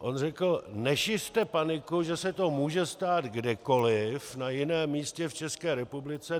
On řekl: "Nešiřte paniku, že se to může stát kdekoliv na jiném místě v České republice.